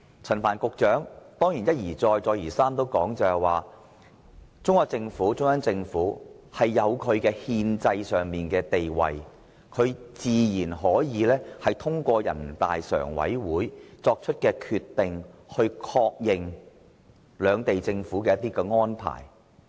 陳帆局長當然一再指出，中央政府有憲制地位，自然可以通過人大常委會作出的決定，確認兩地政府的安排。